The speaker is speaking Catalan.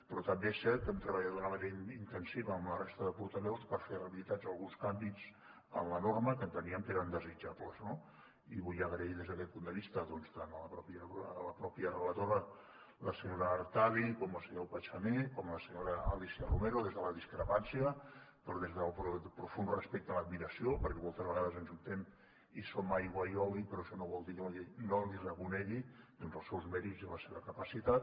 però també és cert que hem treballat d’una manera intensiva amb la resta de portaveus per fer realitat alguns canvis en la norma que enteníem que eren desitjables no i vull donar les gràcies des d’aquest punt de vista tant a la mateixa relatora la senyora artadi com al senyor pachamé i a la senyora alícia romero des de la discrepància però des del profund respecte i l’admiració perquè moltes vegades ens ajuntem i som aigua i oli però això no vol dir que no els reconegui els seus mèrits i la seva capacitat